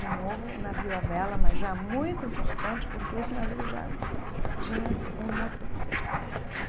De novo, o navio à vela, mas já muito importante, porque esse navio já tinha um motor.